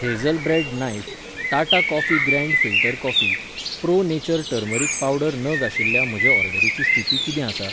Hazel bread knife, Tata coffee grand filter coffee, pro nature turmeric powder नग आशिल्ल्या म्हजे ऑर्डरीची स्थिती कितें आसा?